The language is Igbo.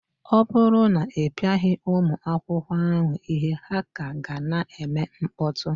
Ọ bụrụ na ị pịaghị ụmụ akwụkwọ ahụ ihe, ha ka ga na-eme mkpọtụ